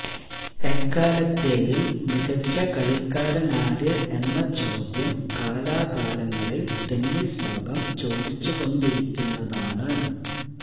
എക്കാലത്തെയും മികച്ച കളിക്കാരനാര് എന്ന ചോദ്യം കാലാകാലങ്ങളില് ടെന്നീസ് ലോകം ചോദിച്ചുകൊണ്ടിരിക്കുന്നതാണ്